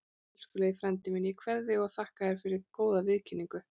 Elskulegi frændi minn, ég kveð þig og þakka þér góða viðkynningu.